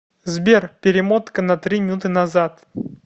сбер перемотка на три минуты назад